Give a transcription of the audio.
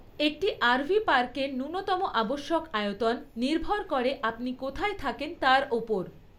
একটি আরভি পার্কের ন্যূনতম আবশ্যক আয়তন নির্ভর করে আপনি কোথায় থাকেন তার ওপর।